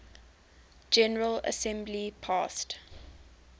general assembly passed